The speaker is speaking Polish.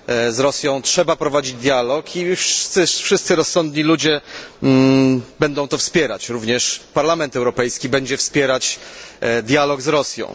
Z Rosją trzeba prowadzić dialog i wszyscy rozsądni ludzie będą to wspierać, również Parlament Europejski będzie wspierać dialog z Rosją.